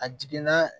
A jiginna